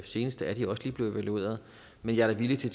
senest er de også lige blevet evalueret men jeg er da villig til